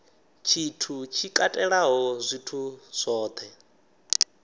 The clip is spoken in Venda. tshithu tshi katelaho zwithu zwohe